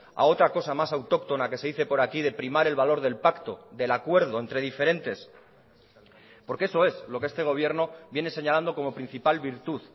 a otra cosa más autóctona que se dice por aquí de primar el valor del pacto del acuerdo entre diferentes porque eso es lo que este gobierno viene señalando como principal virtud